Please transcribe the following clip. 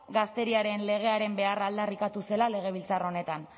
gazteriaren legearen beharra aldarrikatu zela legebiltzar honetan